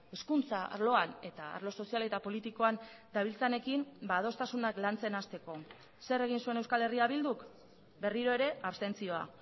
hezkuntza arloan eta arlo sozial eta politikoan dabiltzanekin adostasunak lantzen hasteko zer egin zuen euskal herria bilduk berriro ere abstentzioa